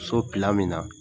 So me na.